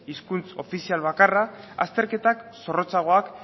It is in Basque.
hizkuntza ofizial bakarra azterketa zorrotzagoak